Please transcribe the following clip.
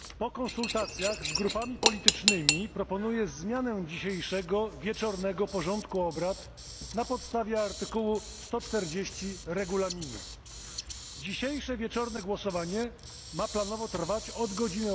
Zaczniemy od komunikatu. Po konsultacjach z grupami politycznymi proponuję zmianę dzisiejszego wieczornego porządku obrad na podstawie art. 140 Regulaminu. Dzisiejsze wieczorne głosowanie ma planowo trwać od godz.